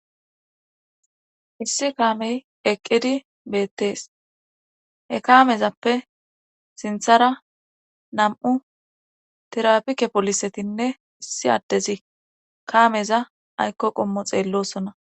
Issi kaamey eqqidi beettees ekamezappe sinthara nam'u tirapike polisetinne issi addezi kaameza aykko qommo xeellosona.